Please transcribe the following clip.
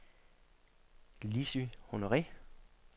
Lissy Honore